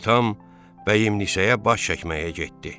Atam Bəyimnisəyə baş çəkməyə getdi.